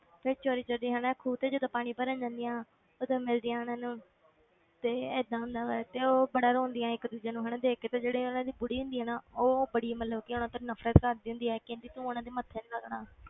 ਫਿਰ ਚੋਰੀ ਚੋਰੀ ਹਨਾ ਖੂਹ ਤੇ ਜਦੋਂ ਪਾਣੀ ਭਰਨ ਜਾਂਦੀਆਂ ਉਦੋਂ ਮਿਲਦੀਆਂ ਉਹਨਾਂ ਨੂੰ ਤੇ ਏਦਾਂ ਹੁੰਦਾ ਵਾ ਤੇ ਉਹ ਬੜਾ ਰੋਂਦੀਆਂ ਇੱਕ ਦੂਜੇ ਨੂੰ ਹਨਾ ਦੇਖ ਕੇ ਤੇ ਜਿਹੜੀ ਉਹਨਾਂ ਦੀ ਬੁੜੀ ਹੁੰਦੀ ਆ ਨਾ ਉਹ ਬੜੀ ਮਤਲਬ ਕਿ ਉਹਨਾਂ ਤੋਂ ਨਫ਼ਰਤ ਕਰਦੀ ਹੁੰਦੀ ਆ ਕਹਿੰਦੀ ਤੂੰ ਉਹਨਾਂ ਦੇ ਮੱਥੇ ਨੀ ਲੱਗਣਾ,